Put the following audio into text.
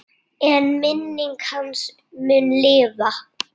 En minning hans mun lifa.